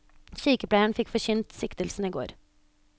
Sykepleieren fikk forkynt siktelsen i går.